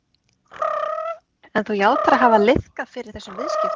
Sigríður: En þú játar að hafa liðkað fyrir þessum viðskiptum?